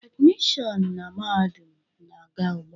Admission na mahadum na-aga ugbu a.